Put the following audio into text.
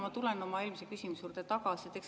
Ma tulen oma eelmise küsimuse juurde tagasi.